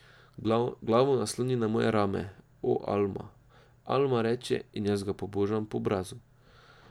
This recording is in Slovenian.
Glavo nasloni na moje rame, o, Alma, Alma, reče in jaz ga pobožam po obrazu.